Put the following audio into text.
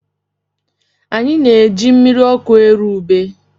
Anyị na-eji mmiri ọkụ eru ubé.